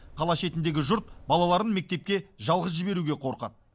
қала шетіндегі жұрт балаларын мектепке жалғыз жіберуге қорқады